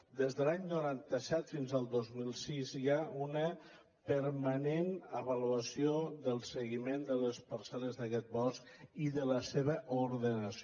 des de l’any noranta set fins al dos mil sis hi ha una permanent avaluació del seguiment de les parceld’aquest bosc i de la seva ordenació